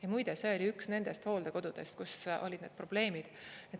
Ja muide, see oli üks nendest hooldekodudest, kus olid need probleemid.